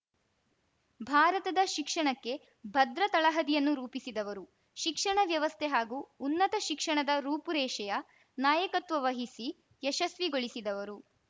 ಭಾರತದ ಶಿಕ್ಷಣಕ್ಕೆ ಭದ್ರ ತಳಹದಿಯನ್ನು ರೂಪಿಸಿದವರು ಶಿಕ್ಷಣ ವ್ಯವಸ್ಥೆ ಹಾಗೂ ಉನ್ನತ ಶಿಕ್ಷಣದ ರೂಪುರೇಷೆಯ ನಾಯಕತ್ವವಹಿಸಿ ಯಶಸ್ವಿಗೊಳಿಸಿದವರು